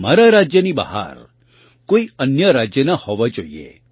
તમારા રાજ્યની બહાર કોઈ અન્ય રાજ્યના હોવાં જોઈએ